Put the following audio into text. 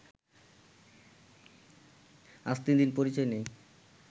আজ তিন দিন পরিচয় নেই